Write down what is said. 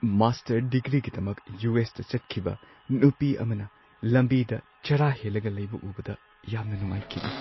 Master ꯗꯤꯒ꯭ꯔꯤꯒꯤꯗꯃꯛ ꯌꯨ.ꯑꯦꯁ.ꯇ ꯆꯠꯈꯤꯕ ꯅꯨꯄꯤ ꯑꯃꯅ ꯂꯝꯕꯤꯗ ꯆꯔꯥ ꯍꯦꯜꯂꯒ ꯂꯩꯕ ꯎꯕꯗ ꯌꯥꯝꯅ ꯅꯨꯡꯉꯥꯏꯈꯤꯗꯦ ꯫